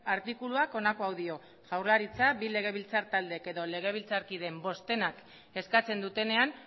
artikuluak honako hau dio jaurlaritza bi legebiltzar taldeek edo legebiltzarkideen bostenak eskatzen dutenean